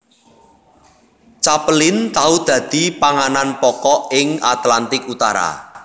Capelin tau dadi panganan pokok ing Atlantik Utara